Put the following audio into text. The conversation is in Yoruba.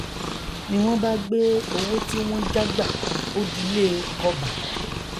ni wọn bá gbé owó tí wọn já gbà ó dilẹ kọbà